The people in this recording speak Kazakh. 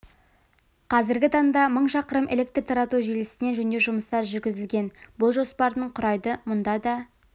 қазіргі таңда мың шақырым электр тарату желісіне жөндеу жұмыстары жүргізілген бұл жоспардың құрайды мұнда да